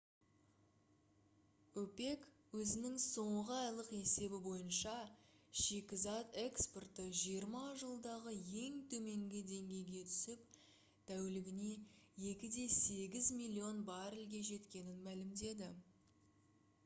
опек өзінің соңғы айлық есебі бойынша шикізат экспорты жиырма жылдағы ең төменгі деңгейге түсіп тәулігіне 2,8 миллион баррельге жеткенін мәлімдеді